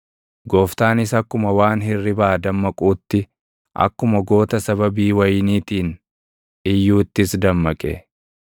Gooftaanis akkuma waan hirribaa dammaquutti, akkuma goota sababii wayiniitiin iyyuuttis dammaqe.